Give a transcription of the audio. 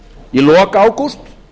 í lok ágúst